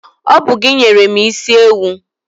Ọ bụ gị nyere mụ isi ewu.